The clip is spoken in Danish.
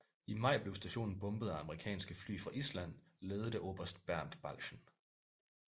I maj blev stationen bombet af amerikanske fly fra Island ledet af oberst Bernt Balchen